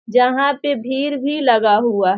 जहाँ पे भीड़ भी लगा हुआ --